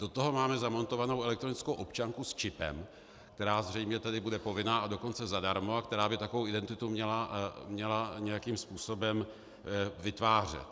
Do toho máme zamontovanou elektronickou občanku s čipem, která zřejmě tedy bude povinná, a dokonce zadarmo, a která by takovou identitu měla nějakým způsobem vytvářet.